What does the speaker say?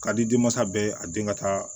Ka di denmasa bɛɛ ye a den ka taa